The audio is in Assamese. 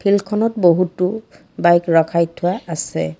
ফিল্ডখনত বহুতো বাইক ৰখাই থোৱা আছে।